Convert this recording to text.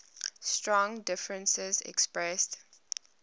strong differences expressed